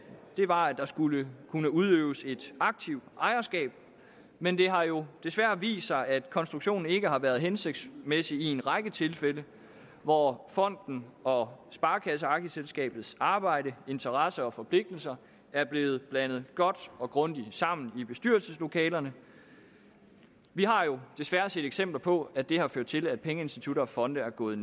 var at der skulle kunne udøves et aktivt ejerskab men det har jo desværre vist sig at konstruktionen ikke har været hensigtsmæssig i en række tilfælde hvor fonden og sparekasseaktieselskabets arbejde interesser og forpligtelser er blevet blandet godt og grundigt sammen i bestyrelseslokalerne vi har jo desværre set eksempler på at det har ført til at pengeinstitutter og fonde er gået